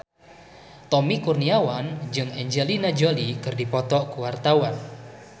Tommy Kurniawan jeung Angelina Jolie keur dipoto ku wartawan